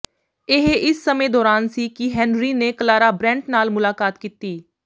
ਇਹ ਇਸ ਸਮੇਂ ਦੌਰਾਨ ਸੀ ਕਿ ਹੈਨਰੀ ਨੇ ਕਲਾਰਾ ਬ੍ਰੈੰਟ ਨਾਲ ਮੁਲਾਕਾਤ ਕੀਤੀ